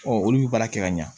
olu bɛ baara kɛ ka ɲa